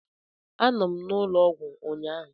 Anọ m n'ụlọ ọgwụ ụnyahụ.